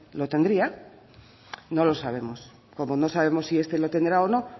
lo tendría no lo sabemos como no sabemos si este lo tendrá o no